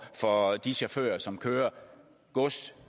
for de chauffører som kører gods